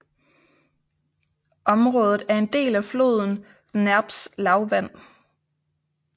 Området er en del af floden Dneprs lavland